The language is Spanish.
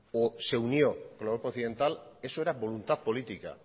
o se unió a la europa occidental eso era voluntad política